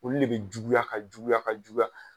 Olu le be juguya ka juguya ka juguya